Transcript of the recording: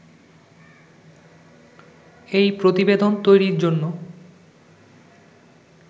এই প্রতিবেদন তৈরির জন্য